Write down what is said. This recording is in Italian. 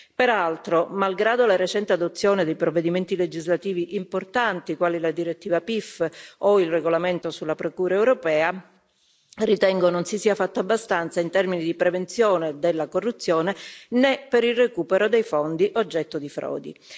Peraltro, malgrado la recente adozione dei provvedimenti legislativi importanti, quali la direttiva PIF o il regolamento sulla Procura europea, ritengo non si sia fatto abbastanza in termini di prevenzione della corruzione né per il recupero dei fondi oggetto di frodi.